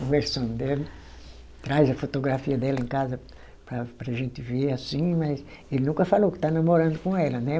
conversando dele, traz a fotografia dela em casa para para a gente ver assim, mas ele nunca falou que está namorando com ela, né?